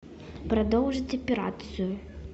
продолжить операцию